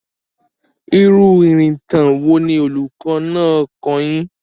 Irú ìrìntàn wo ni olùkọ́ náà kọ́ ọ yín?